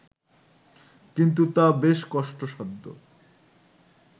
কিন্তু তা বেশ কষ্টসাধ্য